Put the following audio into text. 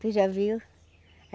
Tu já viu?